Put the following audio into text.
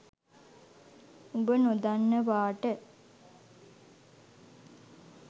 උඹ නොදන්නවට